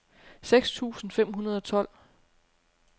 seks tusind fem hundrede og tolv